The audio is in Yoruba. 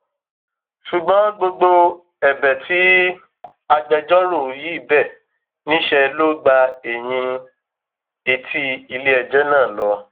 ṣùgbọn gbogbo ẹbẹ tí agbẹjọrò yìí bẹ níṣẹ ló gba ẹyìn etí iléẹjọ náà lọ